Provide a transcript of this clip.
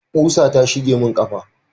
ƙusa ta shige mun kafa